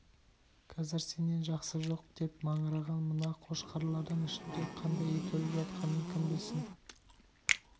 қазір сенен жақсы жоқ деп маңыраған мына қошқарлардың ішінде қандай ит өліп жатқанын кім білсін